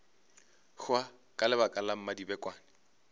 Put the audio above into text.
hwa ka lebaka la mmadibekwane